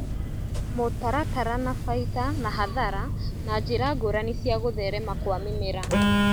Mũtaratara na baita na hathara na njĩra ngũrani cia gũtherema Kwa mĩmera